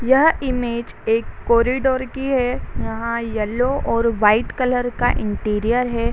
यह इमेज एक कॉरिडोर की है यहां येलो और व्हाइट कलर का इंटीरियर है।